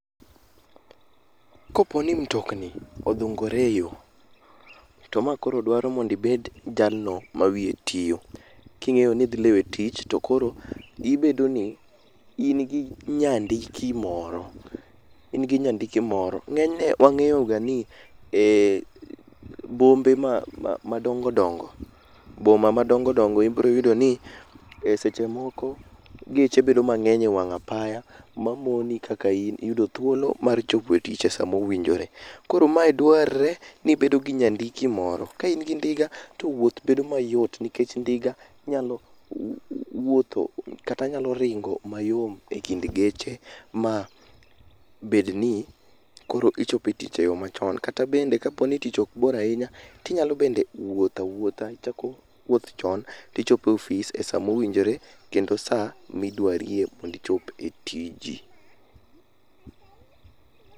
Koponi mtokni odhungore e yoo, to makoro dwaro mondo ibed jalno ma wiye tio king'eyo nidhi lewe tich to koro ibedo ni in gi nyandiki moro, ingi nyandiki moro. Ng'enyne wang'eyoga ni eh bombe ma madongo dongo boma madongo dongo ibro yudo ni e seche moko geche bedo mang'eny e wang' apaya mamoni kaka in yudo thuolo mar chopo e tich e sama owinjore. Koro madwarre ni ibedo gi nyandiki moro, ka ingi ndiga to wuoth bedo mayot nikech ndiga nyalo w w wuotho kata nyalo ringo mayom e kind geche ma bed ni koro ichopo e tich e yoo machon. Kata bende kaponi tich okbor ainya tinyalo bende wuothawuotha, ichako wuoth chon tichopo e ofis e sama owinjore kendo saa midwarie mondo ichop e tiji.